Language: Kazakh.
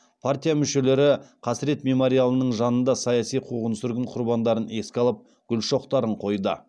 партия мүшелері қасірет мемориалының жанында саяси қуғын сүргін құрбандарын еске алып гүл шоқтарын қойды